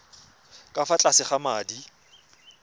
ka fa tlase ga madi